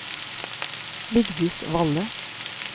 Vigdis Valle